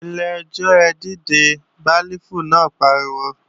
Ilé-ẹjọ́ ẹ dìde, béélífù náà pariwo!